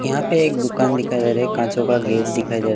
यहाँ पे एक दुकान दिखाई जा रहा है काँचों का गेट दिखाई दे रा --